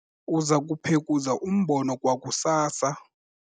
uza kuphekuza umbona kwakusasa